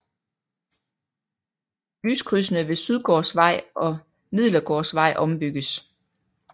Lyskrydsene ved Sydgårdsvej og Midlergårdsvej ombygges